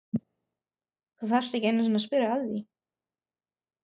Þú þarft ekki einu sinni að spyrja að því.